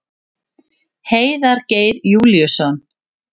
Heiðar Geir Júlíusson.